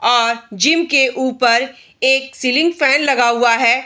और जिम के ऊपर एक सीलिंग फैन लगा हुआ है।